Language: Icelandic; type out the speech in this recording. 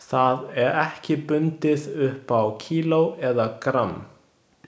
Það er ekki bundið upp á kíló eða gramm.